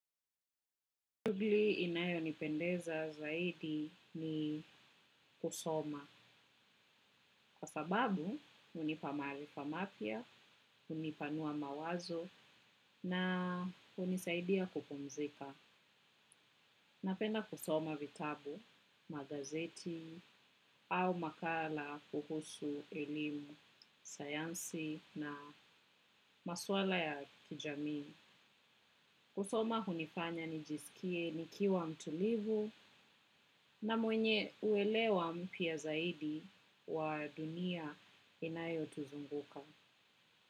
Shughuli inayonipendeza zaidi ni kusoma. Kwa sababu, hunipa marifa mapya, hunipanua mawazo na hunisaidia kupumzika. Napenda kusoma vitabu, magazeti au makala kuhusu elimu, sayansi na maswala ya kijami. Kusoma hunifanya nijisikie nikiwa mtulivu na mwenye uelewa mpya zaidi wa dunia inayotuzunguka.